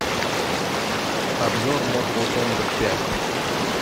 обзор мортал комбат пять